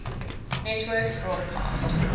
networks broadcast